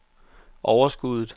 overskuddet